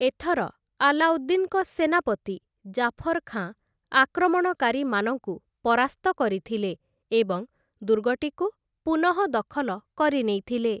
ଏଥର ଆଲ୍ଲାଉଦ୍ଦିନ୍‌ଙ୍କ ସେନାପତି ଜାଫର୍‌ ଖାଁ ଆକ୍ରମଣକାରୀମାନଙ୍କୁ ପରାସ୍ତ କରିଥିଲେ ଏବଂ ଦୁର୍ଗଟିକୁ ପୁନଃଦଖଲ କରିନେଇଥିଲେ ।